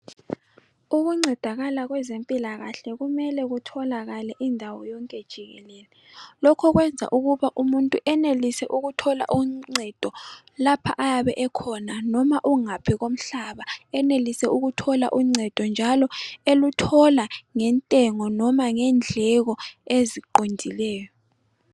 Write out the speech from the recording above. Ukuncedakala kwezempilakahle kumele kutholakale indawo yonke jikelele. Lokho kwenza ukuba umuntu enelise ukuthola uncedo lapha ayabe ekhona noma ungaphi komhlaba enelise ukuthola uncedo njalo eluthola ngentengo noma ngendleko eziqondileyo.